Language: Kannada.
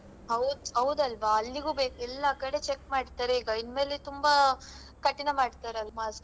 ಹೌದ್ ಹೌದಲ್ವಾ ಅಲ್ಲಿಗೂ ಬೇಕ್ ಎಲ್ಲಾ ಕಡೆ check ಮಾಡ್ತಾರೆ ಈಗ ಇನ್ ಮೇಲೆ ತುಂಬಾ ಕಠಿಣ ಮಾಡ್ತಾರಲ್ವಾ. mask .